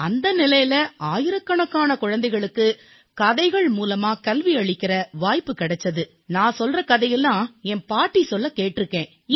அந்த நிலையில் ஆயிரக்கணக்கான குழந்தைகளுக்குக் கதைகள் வாயிலாக கல்வியளிக்கும் வாய்ப்பு கிடைத்தது நான் கூறிய கதையை என் பாட்டி சொல்லக் கேட்டிருக்கிறேன்